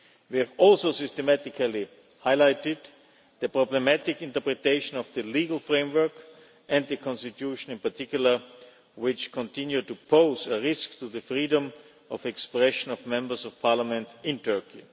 We have also systematically highlighted the problematic interpretation of the legal framework, and the constitution in particular, which continue to pose a risk to the freedom of expression of members of parliament in Turkey.